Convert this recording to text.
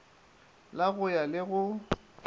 la go ya le go